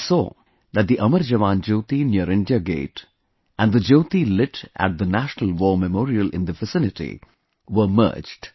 We saw that the 'Amar Jawan Jyoti' near India Gate and the Jyoti lit at the 'National War Memorial' in the vicinity, were merged